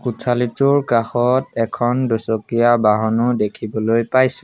কোঠালীটোৰ কাষত এখন দুচকীয়া বাহনো দেখিবলৈ পাইছোঁ।